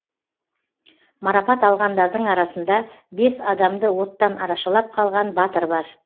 марапат алғандардың арасында бес адамды оттан арашалап қалған батыр бар